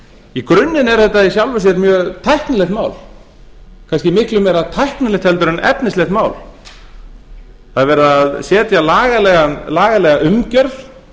í grunninn er þetta í sjálfu sér mjög tæknilegt mál kannski miklu meira tæknilegt en efnislegt mál það er verið að setja lagalega umgjörð